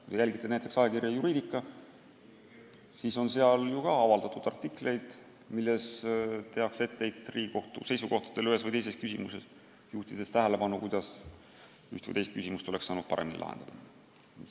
Kui te jälgite näiteks ajakirja Juridica, siis teate, et seal on avaldatud artikleid, milles tehakse etteheiteid Riigikohtu seisukohtadele ühes või teises küsimuses ja juhitakse tähelepanu, kuidas üht või teist küsimust oleks saanud paremini lahendada.